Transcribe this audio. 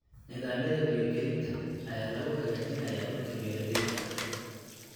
Nidaamyada biyo-gelinta ayaa lagu hagaajinayaa dhulka beeralayda ah.